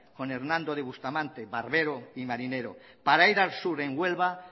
con hernando de bustamante barbero y marinero para ir al sur en huelva